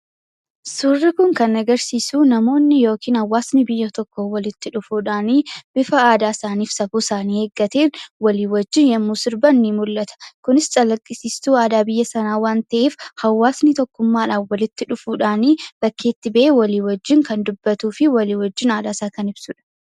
Suurri Kun kan agarsiisu, namoonni yookiin hawaasni biyya tokkoo walitti dhufuudhaan bifa aadaa fi safuu isaanii eeggateen waliin wajjin yemmuu sirban ni mul'ata. Kunis calaqqisiistuu aadaa biyya sanaa waan ta'eef hawaasni tokkummaadhaan walitti dhufuudhaan bakkeetti bahee walii wajjin kan dubbatuu fi walii wajjin aadaa isaa kan ibsudha.